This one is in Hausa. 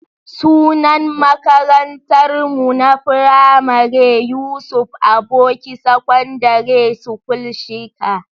Sunan makarantar mu na firamare Yusuf Aboki Secondary School Shika.